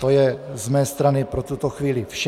To je z mé strany pro tuto chvíli vše.